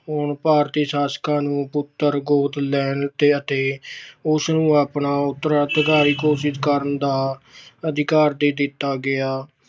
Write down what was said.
ਹੁਣ ਭਾਰਤੀ ਸ਼ਾਸਕਾਂ ਨੂੰ ਪੁੱਤਰ ਗੋਦ ਲੈਣ ਅਤੇ ਉਸਨੂੰ ਆਪਣਾ ਉਤਰਾਧਿਕਾਰੀ ਘੋਸ਼ਿਤ ਕਰਨ ਦਾ ਅਧਿਕਾਰ ਦੇ ਦਿੱਤਾ ਗਿਆ।